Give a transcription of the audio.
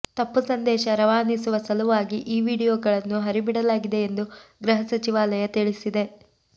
ತಪ್ಪು ಸಂದೇಶ ರವಾನಿಸುವ ಸಲುವಾಗಿ ಈ ವಿಡಿಯೋಗಳನ್ನು ಹರಿಬಿಡಲಾಗಿದೆ ಎಂದು ಗೃಹ ಸಚಿವಾಲಯ ತಿಳಿಸಿದೆ